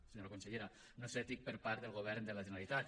senyora consellera no és ètic per part del govern de la generalitat